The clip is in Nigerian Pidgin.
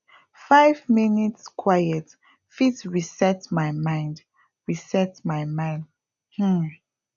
five minutes quiet fit reset my mind reset my mind um